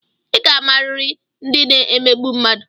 I ga-amariri ndị na-emegbu mmadụ!